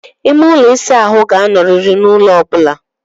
Ime ụlọ ịsa ahụ ga-anọrịrị n'ulo ọ bụla.